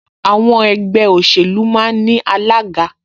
Àwọn ẹgbẹ́ òṣèlú máa ń ní alága